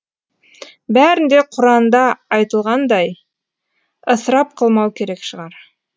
бәрін де құранда айтылғандай ысырап қылмау керек шығар